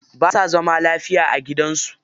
Ba sa zaman lafiya a gidan su.